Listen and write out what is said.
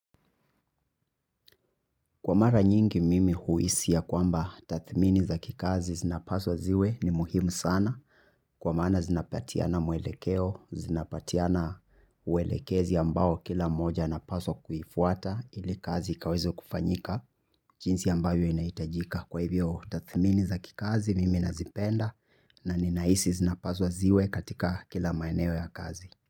Kwa mara nyingi mimi huhisi ya kwamba tathmini za kikazi zinapaswa ziwe ni muhimu sana. Kwa mana zinapatiana mwelekeo, zinapatiana uelekezi ambao kila moja anapaswa kuifuata ili kazi ikawize kufanyika. Jinsi ambayo inaitajika kwa hivyo tathmini za kikazi mimi nazipenda na ninahisi zinapaswa ziwe katika kila maeneo ya kazi.